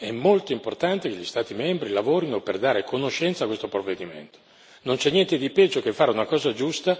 Una è quella che già lei richiamava è molto importante che gli Stati membri lavorino per dare conoscenza di questo provvedimento.